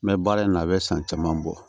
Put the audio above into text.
N bɛ baara in na a bɛ san caman bɔ